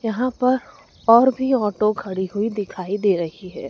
यहां पर और भी ऑटो खड़ी हुई दिखाई दे रही है।